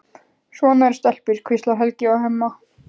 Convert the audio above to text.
Svona eru stelpur, hvíslar Helgi að Hemma.